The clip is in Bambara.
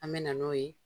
An me na n'o ye